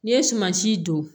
N'i ye sumansi don